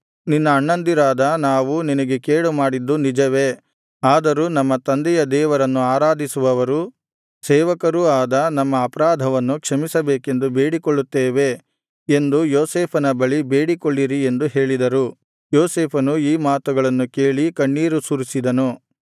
ನಿನ್ನ ಅಣ್ಣಂದಿರಾದ ನಾವು ನಿನಗೆ ಕೇಡು ಮಾಡಿದ್ದು ನಿಜವೇ ಆದರೂ ನಮ್ಮ ತಂದೆಯ ದೇವರನ್ನು ಆರಾಧಿಸುವವರು ಸೇವಕರೂ ಆದ ನಮ್ಮ ಅಪರಾಧವನ್ನು ಕ್ಷಮಿಸಬೇಕೆಂದು ಬೇಡಿಕೊಳ್ಳುತ್ತೇವೆ ಎಂದು ಯೋಸೇಫನ ಬಳಿ ಬೇಡಿಕೊಳ್ಳಿರಿ ಎಂದು ಹೇಳಿದರು ಯೋಸೇಫನು ಈ ಮಾತುಗಳನ್ನು ಕೇಳಿ ಕಣ್ಣೀರು ಸುರಿಸಿದನು